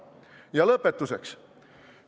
Ja lõpetuseks.